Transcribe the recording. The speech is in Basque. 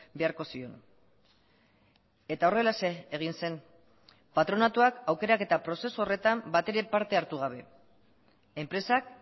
beharko zion eta horrelaxe egin zen patronatuak aukeraketa prozesu horretan batere parte hartu gabe enpresak